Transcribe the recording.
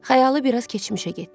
Xəyalı biraz keçmişə getdi.